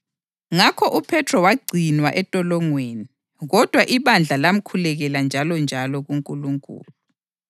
Ngakho uPhethro wagcinwa entolongweni, kodwa ibandla lamkhulekela njalonjalo kuNkulunkulu.